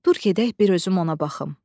Dur gedək bir özüm ona baxım.